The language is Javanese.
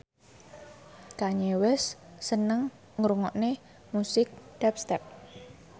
Kanye West seneng ngrungokne musik dubstep